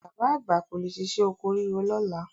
Bàbá àgbà kò lè ṣiṣẹ́ oko ríro lọ́la.